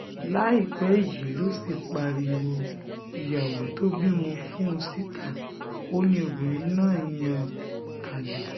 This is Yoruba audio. láìpẹ́ yìí ló sì pariwo ìyàwó tó bímọ fún un síta ó ní obìnrin náà ń yan àlè